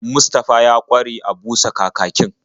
Mustafa ya ƙware a busa kakakin.